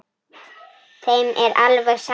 Þeim er alveg sama.